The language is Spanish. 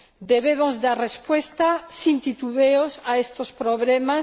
Debemos dar respuesta sin titubeos a estos problemas